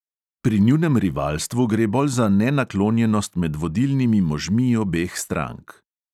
Pri njunem rivalstvu gre bolj za nenaklonjenost med vodilnimi možmi obeh strank.